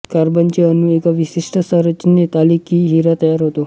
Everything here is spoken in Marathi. कार्बनचे अणू एका विशिष्ट संरचनेत आले की हिरा तयार होतो